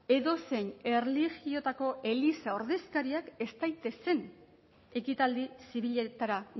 edozein erlijiotako eliza ordezkariak ez daitezen ekitaldi zibiletara